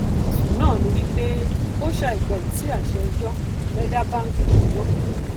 ẹsùn náà ní wípé ó ṣàìgbọràn sí àṣẹ ẹjọ fẹ dá báńkì dúró